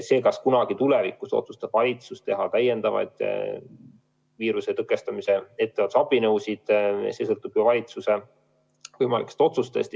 See, kas kunagi tulevikus otsustab valitsus kehtestada täiendavaid viiruse tõkestamise ettevaatusabinõusid, sõltub juba valitsuse võimalikest otsustest.